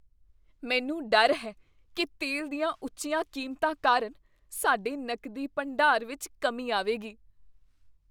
ਮੈਨੂੰ ਡਰ ਹੈ ਕੀ ਤੇਲ ਦੀਆਂ ਉੱਚੀਆਂ ਕੀਮਤਾਂ ਕਾਰਨ ਸਾਡੇ ਨਕਦੀ ਭੰਡਾਰ ਵਿੱਚ ਕਮੀ ਆਵੇਗੀ।